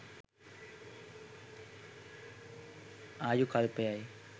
ආයු කල්පය යි.